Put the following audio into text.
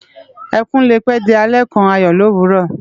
Ekún lé pè di àlè kán àyò lówúrò